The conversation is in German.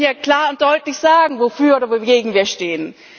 Wir müssen hier klar und deutlich sagen, wofür oder wogegen wir stehen.